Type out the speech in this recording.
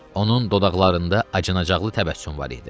Onun dodaqlarında acınacaqlı təbəssüm var idi.